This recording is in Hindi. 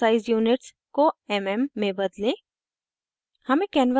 * custom size units को mm में बदलें